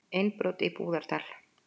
Innbrot í Búðardal